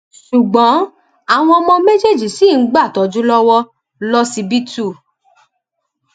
ṣùgbọn àwọn ọmọ méjèèjì ṣì ń gbàtọjú lọwọ lọsibítù